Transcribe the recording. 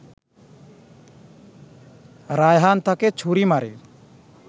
রায়হান তাকে ছুরি মারে